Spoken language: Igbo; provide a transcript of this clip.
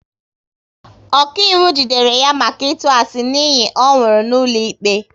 Ọkaiwu jidere ya maka ịtụ asị n'iyi ọ nwụrụ n'ụlọikpe